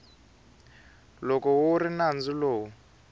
loko wu ri nandzu lowu